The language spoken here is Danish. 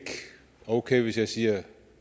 okay hvis jeg siger